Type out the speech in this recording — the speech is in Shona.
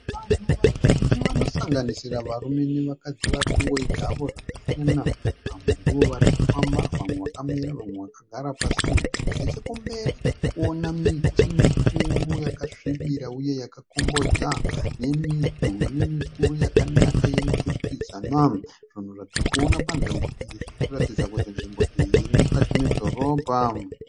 Vanhu vazhinji vanosanganisira varume nevakadzi vari kungoita havo zvakasiyana. Vamwe ndivo vari kufamba, vamwe vakamira vamwe vakagara pasi. Nechokumberi tiri kuona miti mikuru yakasvibira uye yakakombodza nemidhuri mikuru yakanaka yemiturikidzanwa. Zvinhu zvatiri kuona panzvimbo iyi zviri kuratidza kuti nzvimbo iyi iri mukati medhorobha.